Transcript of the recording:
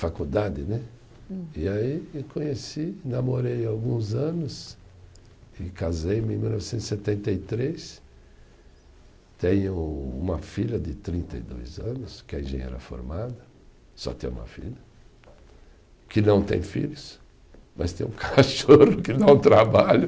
Faculdade né e aí eu conheci namorei alguns anos e casei em mil novecentos e setenta e três, tenho uma filha de trinta e dois anos que é engenheira formada, só tenho uma filha que não tem filhos, mas tem um cachorro que dá um trabalho